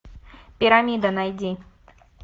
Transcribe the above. пирамида найди